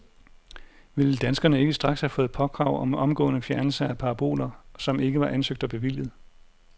Ville danskere ikke straks have fået påkrav om omgående fjernelse af paraboler, som ikke var ansøgt og bevilliget?